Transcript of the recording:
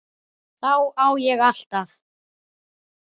Þá á ég alltaf.